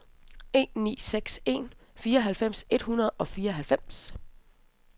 en ni seks en fireoghalvfems et hundrede og fireoghalvfems